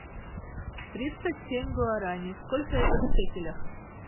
тридцать семь гуарани сколько это в шекелях